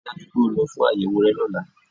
Ríi dájú wípé o lọ fún àyẹ̀wò rẹ lọ́lá